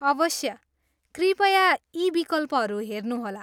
अवश्य, कृपया यी विकल्पहरू हेर्नुहोला।